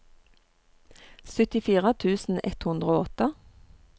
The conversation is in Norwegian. syttifire tusen ett hundre og åtte